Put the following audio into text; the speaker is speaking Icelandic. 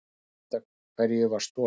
Ekki vitað hverju var stolið